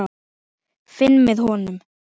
Finn með honum.